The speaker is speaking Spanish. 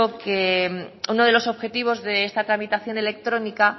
que uno de los objetivos de esta tramitación electrónica